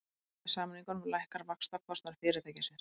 Með samningunum lækkar vaxtakostnaður fyrirtækisins